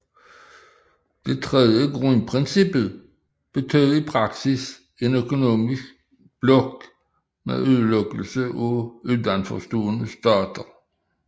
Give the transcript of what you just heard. Det tredje grundprincip betød i praksis en økonomisk blok med udelukkelse af uden for stående stater